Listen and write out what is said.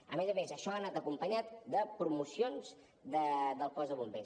a més a més això ha anat acompanyat de promocions del cos de bombers